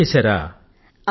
BA చదివారా